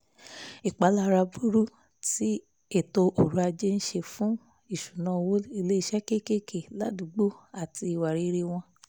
ìpalára burú tí ètò ọrọ̀ ajé ń ṣe fún ìṣúná owó iléeṣẹ́ kéékèé ládùúgbò àti ìwà rere wọn